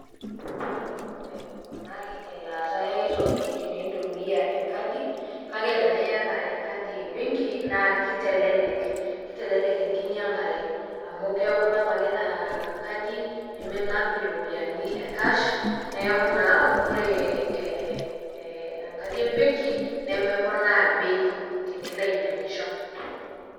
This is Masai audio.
Ajo nanu meponari elaata e ai toki tenintumia enkadi kake tena iyata enkadi e benki naa kitelelek kitelelek enkinyang'are amu keeku inap ake ina kadi neminap iropiani e cash, neeku naa ore ee ee enkadi e benki nemeponaa bei tenilo ainyang'isho.